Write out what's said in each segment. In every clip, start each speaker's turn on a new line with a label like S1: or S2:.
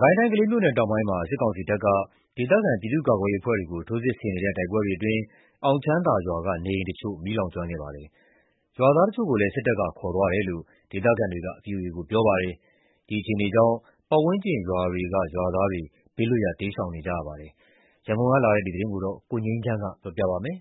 S1: ကိုင်းတိုင်း ကလေးမြို့နယ်တောင်ပိုင်းမှာ စစ်ကောင်စီတပ်က ဒေသခံပြည်သူ့ကာကွယ်ရေးအဖွဲ့တွေကို ထိုးစစ်ဆင်တိုက်နေတဲ့ တိုက်ပွဲတွေအတွင်း အောင်ချမ်းသာရွာက နေအိမ်တချို့ မီးလောင်ကျွမ်းခဲ့ပါတယ်။ ရွာသားတချို့ကိုလည်း စစ်တပ်က ခေါ်ဆောင်သွားတယ်လို့ ဒေသခံတွေက ဗွီအိုအေကို ပြောပါတယ်။ ဒီအခြေအနေကြောင့် ပတ်ဝန်းကျင်ရွာတွေက ရွာသားတွေ ဘေးလွတ်ရာ တိမ်းရှောင်နေကြပါတယ်။ ရန်ကုန်ကလာတဲ့သတင်းကို ကိုငြိမ်းချမ်းက တင်ပြပေးထားပါတယ်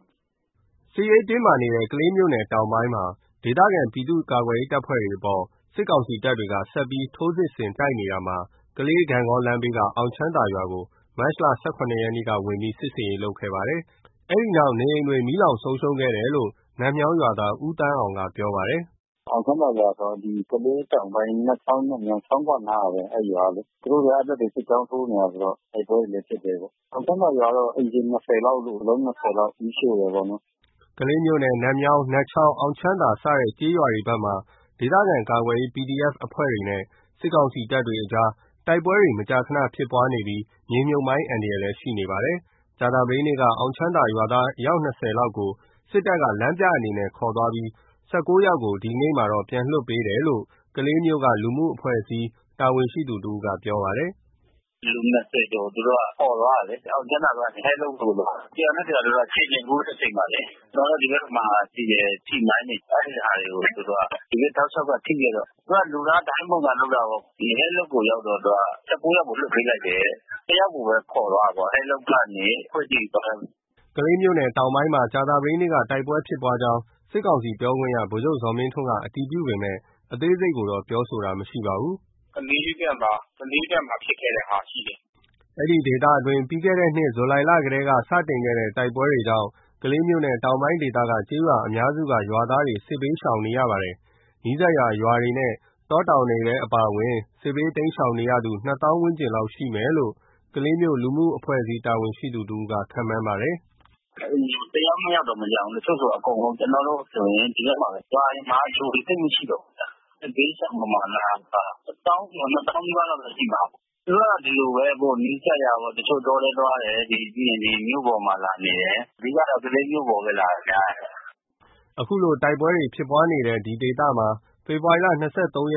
S1: ။ စစ်ရေးတင်းမာနေတဲ့ ကလေးမြို့နယ်တောင်ပိုင်းမှာ ဒေသခံပြည်သူ့ကာကွယ်ရေးတပ်တွေအပေါ် စစ်ကောင်စီတပ်တွေက ဆက်လက်ထိုးစစ်ဆင် တိုက်နေတာမှာ ကလေး-ဂန့်ဂေါလမ်းဘေးက အောင်ချမ်းသာရွာကို မတ်လ ၁၇ ရက်က ဝင်ရောက် စစ်ဆင်ရေးလုပ်ခဲ့ပါတယ်။ စစ်တပ်တွေ ဝင်ရောက်ခဲ့ပြီး အိမ်အလုံး ၂၀ လောက်ကို မီးရှို့သွားတယ်လို့ နတ်မြောင်း ရွာသား ဦးသန်းအောင်က ပြောပါတယ်။ “အေ
S2: ာင်ချမ်းသာရွာဆိုတာက ကလေးတောင်ပိုင်း နတ်ချောင်း နတ်မြောင်း ချောင်းခွအနားကဘဲ အဲဒီရွာကလေ။ သူတို့ကအဲဒီဘက်မှာ စစ်ကြောင်းထိုးနေတယ်ဆိုတော့ တိုက်ပွဲတွေလဲဖြစ်တယ်ပေါ့။ အောင်ချမ်းသာရွာတော့ အိမ် ခြေ (၂၀) လောက်လို့၊ အလုံး (၂၀) လောက် မီးရှို့တယ်ပေါ့နော်
S1: ။ ” ကလေးမြို့နယ် နတ်မြောင်း၊ နတ်ချောင်း၊ အောင်ချမ်းသာစတဲ့ကျေးရွာဘက်မှာ ဒေသခံကာကွယ်ရေး PDF အဖွဲ့တွေနဲ့ စစ်ကောင်စီတပ်တွေအကြား တိုက်ပွဲမကြာခဏဖြစ်ပွားနေပြီး မြေမြှုပ်မိုင်းအန္တရာယ်လည်း ရှိနေပါတယ်။ ကြာသပတေးနေ့က အောင်ချမ်းသာရွာသား ၂၀ လောက်ကိုလည်း စစ်တပ်က လမ်းပြအနေနဲ့ ခေါ်သွားပြီး ၁၉ ယောက်ကို ဒီနေ့ သောကြာနေ့မှာ ပြန်လွှတ်ပေးတယ်လို့ ကလေးမြို့က လူမှုအဖွဲ့အစည် း တာဝန်ရှိသူတဦးက ပြောပါတယ်။
S2: “လူ (၂၀) ကျော်ကို သူတို့ ခေါ်သွားတယ်လေ။ အောင်ချမ်းသာကနေ အဲလုပ်ကို ခေါ်သွားတယ်။ တရွာနဲ့တရွာကို ခြေကျင်ပို့တဲ့အချိန်မှာလေ။ ကျနော်တို့ ဒီဘက်မှာရှိတဲ့ ထိမိုင်းတွေ။ အဲဒီဟာတွေကို သူတို့က ဒီဘက် တောက်လျှောက်က ထိခဲ့တော့ သူတို့က လူသားဒိုင်းပုံစံလုပ်တာပေါ့။ အဲလုပ်ကိုရောက်တော့ သူတို့ (၁၉) ယောက်ကို လွှတ်ပေးခဲ့တယ်တဲ့။ တယောက်ကိုပဲ ခေါ်သွားတယ်ပေါ့။ အဲလုပ်ရွာကနေ ခွေကြိမ်ရွာဘက်။
S1: ” ကလေးမြို့နယ်တောင်ပိုင်းဘက်မှာ ကြာသပတေးနေ့က တိုက်ပွဲဖြစ်ပွါးကြောင်း စစ်ကောင်စီပြောခွင့်ရ ဗိုလ် ချုပ်ဇော်မင်း ထွန်းက အတည်ပြုပေမယ့် အသေးစိတ်ကိုတော့ပြောဆိုတာမရှိပါဘူး။
S2: “ကလေးမြို့ဘက်မှာ ကလေးဘက်မှာဖြစ်ခဲ့တဲ့ဟာတော့ရှိတယ်
S1: ။” ဒေသအတွင်းပြီးခဲ့တဲ့နှစ် ဇူလိုင်လထဲက စတင်ခဲ့တဲ့ တိုက်ပွဲတွေကြောင့် ကလေးမြို့နယ်တောင်ပိုင်းဒေသက ကျေးရွာအများစုက ရွာသားတွေ စစ်ဘေးတိမ်း ရှောင်နေကြရပါတယ်။ နီးစပ်ရာရွာ တောတောင်ဒေ သမှာအပါအဝင် စစ်ဘေးတိမ်းရှောင်နေရသူ နှစ်သောင်းဝန်းကျင်ရှိမယ်လို့ ကလေးမြို့ လူမှုအဖွဲ့အစည်း တာဝန်ရှိသူတဦးက ခန့်မှန်းပါတယ်။ “တအ
S2: ိမ်မှာ တယောက်နှစ်ယောက်တောင်မကျန်ဘူး။ တချို့ဆိုအကုန်လုံး။ ကျနော်တို့ဆိုရင် ဒီဘက်မှာ ရွာတွေမှာ လူတွေသိပ်မရှိတော့ဘူး။ စစ်ဘေးရှောင်ပမာဏက တသောင်းကျော် နှစ်သောင်းနီးပါးလောက်တော့ ရှိမှာပါ။ သူတို့က ဒီလိုပဲ နီးစပ်ရာ တချို့တောထဲသွားတယ်။ ပြီးရင်ဒီမြို့ပေါ်မှာလာနေတယ်။ အဓိကတော့ ကလေးမြို့ပေါ်မှာပဲ နေတာ များတယ်။
S1: ” အခုလို တိုက်ပွဲတွေဖြစ်နေတဲ့ အဲဒီဒေသမှာ ဖေဖော်ဝါရီ ၂၃ ရက်နေ့တုန်း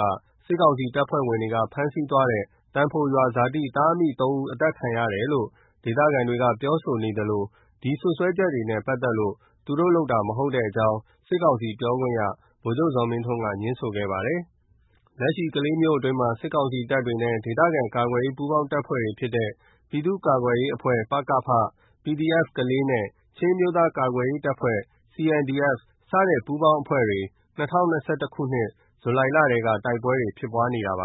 S1: က စစ်ကောင်စီတပ်ဖွဲ့ဝင်တွေက ဖမ်းဆီးသွားတဲ့ သံဖိုရွာဇာတိ သားအမိ ၃ ဦး အသတ်ခံရတယ်လို့ ဒေသခံတွေကပြောဆိုနေသလို ဒီလိုစွပ်စွဲ ချက်နဲ့ပက်သက်လို့ သူတို့လုပ်တာမဟုတ်ကြောင်း စစ်ကောင်စီပြောခွင့်ရ ဗိုလ်ချုပ်ဇော်မင်းထွန်းက ငြင်းဆိုခဲ့ပါတယ်။ လက်ရှိ ကလေးမြို့အတွင်းမှာ စစ်ကာင်စီတပ်နဲ့ ဒေသကာကွယ်ရေး ပူးပေါင်းတပ်ဖွဲ့တွေဖြစ်တဲ့ ပြည်သူ့ကာကွယ်ရေးအဖွဲ့ ပကဖ၊ PDF ကလေးနဲ့ ချင်းအမျိုးသားကာကွယ်ရေးအဖွဲ့ CNDF စတဲ့ပူးပေါင်းအဖွဲ့တွေ ၂၀၂၁ ခုနှစ် ဇူလိုင်လထဲက တိုက်ပွဲတွေ ဖြစ်ပွားနေတာဖြစ်ပါ